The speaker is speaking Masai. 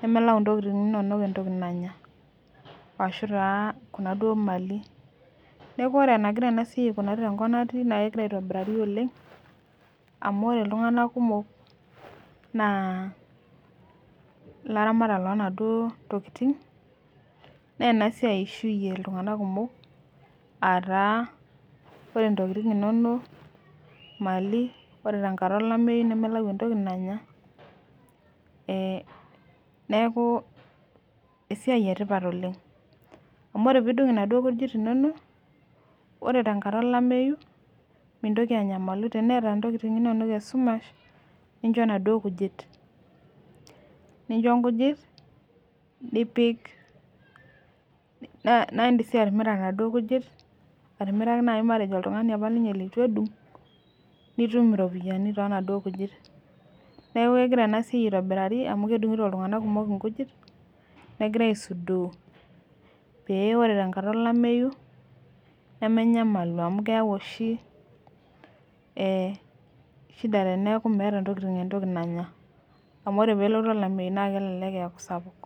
nemelau intokitin inonok entoki nanya ashu taa kuna duo  mali. Neaku ore enagira enasiai aikunari tenkop natii nakegira aitobirari oleng' amu ore iltung'ana kumok naa laramatak lonaduoo tokitin nenasiai eishuye iltung'ana kumok aataa ore intokitin inonok,  mali ore tenkata olameyu nemelayu entoki nanya eh neakuu esiai etipat oleng'. Amu ore piidung' naduo kujit inono ore tenkata olameyu mintoki anyamalu teneata intokitin inonok esumash nincho naduo kujit, nincho nkujit nipik [nh] naindim sii atimira naduo kujit atimiraki nai matejo oltung'ani apa ninye leitu edung' nitum iropiyani toonaduo kujit. Neaku kegira enasiai aitobirari amu kedung'ito iltung'anak kumok inkujit negira aisudoo pee ore tenkata olameyu nemenyamalu amu keyau oshi eh shida teneaku meata intokitin entoki nanya amu ore peelotu olameyu naakelelek eaku sapuk.